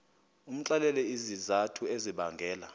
umxelele izizathu ezibangela